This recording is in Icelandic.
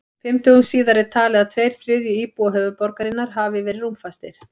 Fimm dögum síðar er talið að tveir þriðju íbúa höfuðborgarinnar hafi verið rúmfastir.